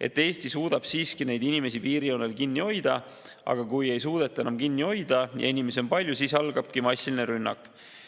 et Eesti suudab siiski neid inimesi piirijoonel kinni hoida, aga kui ei suudeta enam kinni hoida ja inimesi on palju, siis massilise rünnakuga.